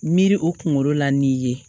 Miiri o kunkolo la n'i ye